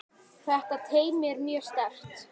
Þetta teymi er mjög sterkt.